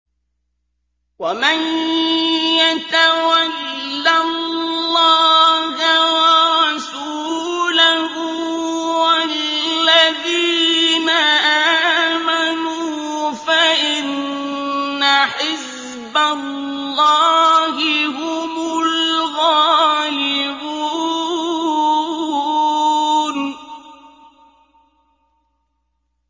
وَمَن يَتَوَلَّ اللَّهَ وَرَسُولَهُ وَالَّذِينَ آمَنُوا فَإِنَّ حِزْبَ اللَّهِ هُمُ الْغَالِبُونَ